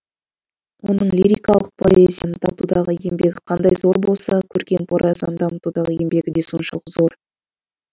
оның лирикалық поэзияны дамытудағы еңбегі қандай зор болса көркем прозаны дамытудағы еңбегі де соншалық зор